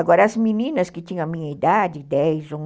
Agora, as meninas que tinham a minha idade, de dez